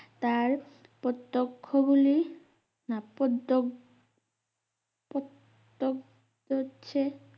তার প্রতক্ষ গুলি না প্রদক পো তোক তো ছে